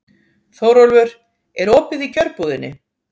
Þórólfur, er opið í Kjörbúðinni?